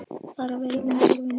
Far vel, minn kæri vinur.